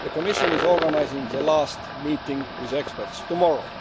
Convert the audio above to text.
The Commission is organising the last meeting with experts tomorrow.